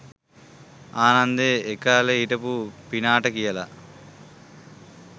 ආනන්දෙ ඒකාලෙ හිටපු පිනාට කියලා